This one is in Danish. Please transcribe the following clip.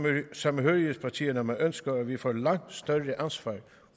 samhørighedspartierne at man ønsker at vi får et langt større ansvar